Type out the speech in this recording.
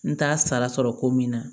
N t'a sara sɔrɔ ko min na